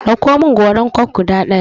Ɗauko min goran coke guda ɗaya!